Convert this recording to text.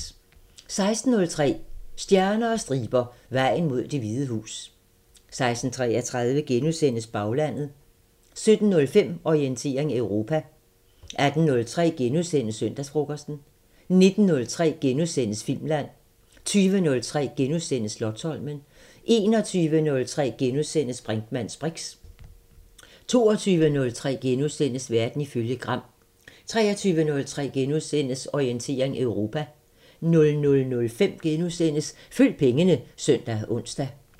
16:03: Stjerner og striber – Vejen mod Det Hvide Hus 16:33: Baglandet * 17:05: Orientering Europa 18:03: Søndagsfrokosten * 19:03: Filmland * 20:03: Slotsholmen * 21:03: Brinkmanns briks * 22:03: Verden ifølge Gram * 23:03: Orientering Europa * 00:05: Følg pengene *(søn og ons)